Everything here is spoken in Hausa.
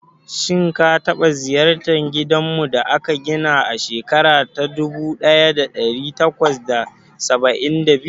Shin ka taba ziyartar gidanmu da aka gina a shekara ta dubu daya da dari takwas da saba'in da biyu?